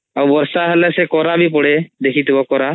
ଆଉ ବର୍ଷା ହେଲେ ସେ କରା ବି ପଡେ ଦେଖିଥିବ କରା